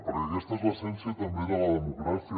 perquè aquesta és l’essència també de la democràcia